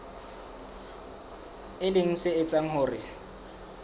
e leng se etsang hore